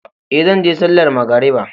Ee, zan je sallar magariba.